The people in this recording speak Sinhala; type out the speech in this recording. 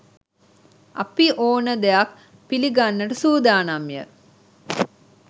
අපි ඕන දෙයක් පිලිගන්නට සූදානම් ය